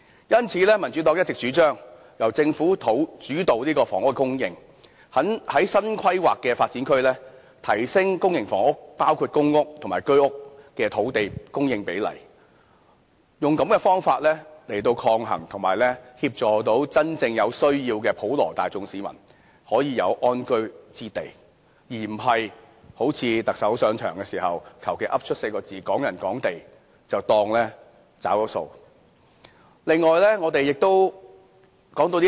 因此民主黨一直主張由政府主導房屋的供應，在新規劃的發展區提升公營房屋，包括公屋及居屋的土地供應比例，用這個方法來協助真正有需要的市民可以有安居之所，而並非好像行政長官上場的時候，胡亂說出"港人港地 "4 個字便當"找了數"。